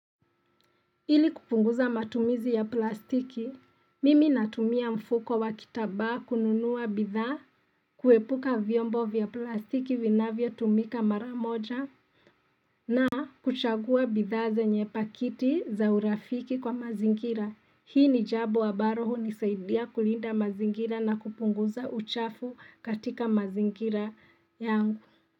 Ili kupunguza matumizi ya plastiki, mimi natumia mfuko wa kitambaa kununua bidhaa, kuepuka vyombo vya plastiki winavyotumika mara moja, na kuchagua bidhaa zenye pakiti za urafiki kwa mazingira. Hii ni jambo ambalo hunisaidia kulinda mazingira na kupunguza uchafu katika mazingira yangu.